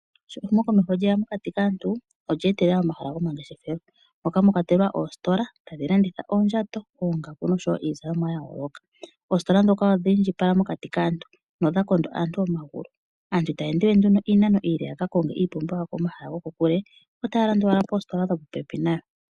Sho ehumokomeho lye ya olya etetele omahala gomangeshefelo moka mwa kwatelwa oositola tadhi landitha oondjato, oongaku noshowo iizalomwa ya yooloka. Oositola ndhoka odha indjipala mokati kaantu nodha kondo aantu omagulu. Aantu itaya ende we iinano iile ya ka konge iipumbiwa yawo komahala gokokule, otaya landa owala poositola dhopopepi nayo.